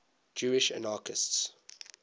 jewish anarchists